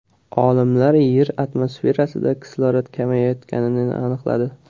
Olimlar Yer atmosferasida kislorod kamayayotganini aniqladi.